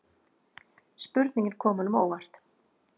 Spurningin kom honum á óvart.